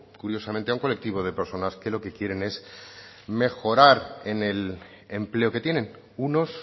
curiosamente a un colectivo de personas que lo que quieren es mejorar en el empleo que tienen unos